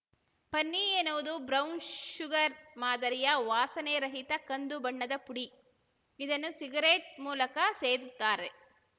ಪನ್ನಿ ಎನ್ನುವುದು brown sugar ಮಾದರಿಯ ವಾಸನೆ ರಹಿತ ಕಂದು ಬಣ್ಣದ ಪುಡಿ ಇದನ್ನು ಸಿಗರೆಟ್‌ ಮೂಲಕ ಸೇದುತ್ತಾರೆ